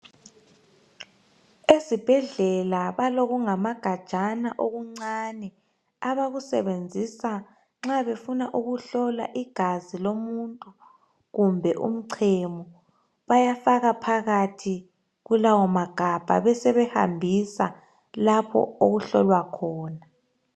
Ezibhedlela balokungamagajana okucane abakusebenzisa nxa befuna ukuhlola igazi lomuntu kumbe umchemo. Bayafaka phakathi kulawo magabha besebehambisa lapho okuhlola khona.